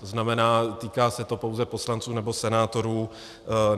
To znamená, týká se to pouze poslanců nebo senátorů.